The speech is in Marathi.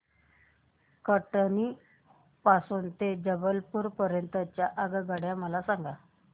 कटनी पासून ते जबलपूर पर्यंत च्या आगगाड्या मला सांगा